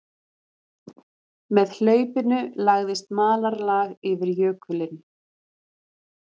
Með hlaupinu lagðist malarlag yfir jökulinn